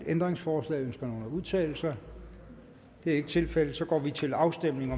ændringsforslag ønsker nogen at udtale sig det er ikke tilfældet og så går vi til afstemning